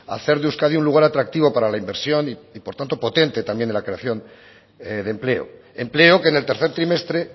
hacer de euskadi un lugar atractivo para la inversión y por tanto potente también de la creación de empleo empleo que en el tercer trimestre